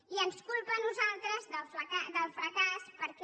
i ens culpa a nosaltres del fracàs perquè